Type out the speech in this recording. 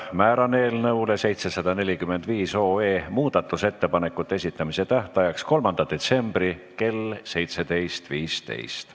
Määran eelnõu 745 muudatusettepanekute esitamise tähtajaks 3. detsembri kell 17.15.